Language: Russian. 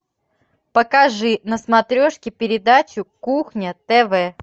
покажи на смотрешке передачу кухня тв